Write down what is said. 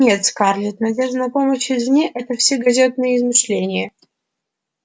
нет скарлетт надежда на помощь извне это все газетные измышления